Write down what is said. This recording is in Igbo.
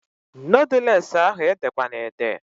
Noodules ahụ ede kwana ede!